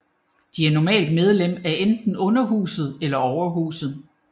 De er normalt medlem af enten Underhuset eller Overhuset